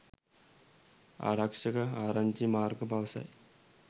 ආරක්ෂක ආරංචි මාර්ග පවසයි